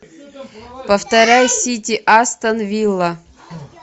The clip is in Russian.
повторяй сити астон вилла